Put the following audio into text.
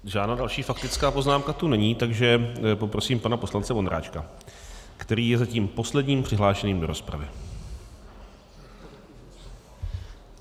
Žádná další faktická poznámka tu není, takže poprosím pana poslance Vondráčka, který je zatím posledním přihlášeným do rozpravy.